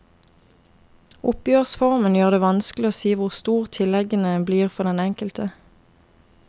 Oppgjørsformen gjør det vanskelig å si hvor store tilleggene blir for den enkelte.